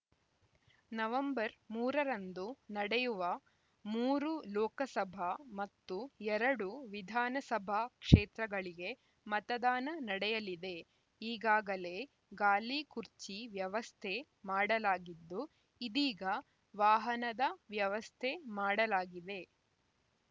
November ಮೂರು ರಂದು ನಡೆಯುವ ಮೂರು ಲೋಕಸಭಾ ಮತ್ತು ಎರಡು ವಿಧಾನಸಭಾ ಕ್ಷೇತ್ರಗಳಿಗೆ ಮತದಾನ ನಡೆಯಲಿದೆ ಈಗಾಗಲೇ ಗಾಲಿ ಕುರ್ಚಿ ವ್ಯವಸ್ಥೆ ಮಾಡಲಾಗಿದ್ದು ಇದೀಗ ವಾಹನದ ವ್ಯವಸ್ಥೆ ಮಾಡಲಾಗಿದೆ